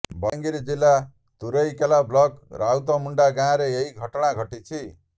ବଲାଙ୍ଗିର ଜିଲ୍ଲା ତୁରେକେଲା ବ୍ଲକ ରାଉତମୁଣ୍ଡା ଗାଁରେ ଏହି ଘଟଣା ଘଟିଛି